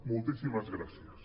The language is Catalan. moltíssimes gràcies